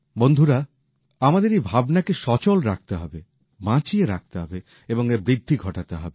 বন্ধুরা আমাদের এই ভাবনাকে জারি রাখতে হবে বাঁচিয়ে রাখতে হবে এবং এর প্রসার ঘটাতে হবে